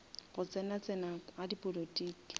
go tsena tsena ga dipolotiki